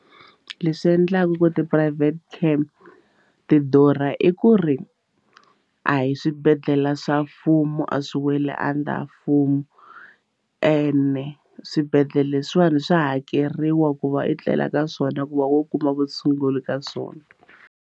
Leswi endlaka ku ti-private care ti durha i ku ri a hi swibedhlele swa mfumo a swi weli under mfumo ende swibedhlele leswiwani swa hakeriwa ku va i tlela ka swona ku va u kuma vutshunguri ka swona.